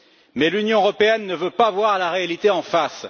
Mais l'Union européenne ne veut pas voir la réalité en face.